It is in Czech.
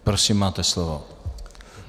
Prosím, máte slovo.